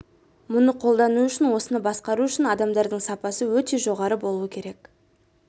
мұны қолдану үшін осыны басқару үшін адамдардың сапасы өте жоғары болуы керек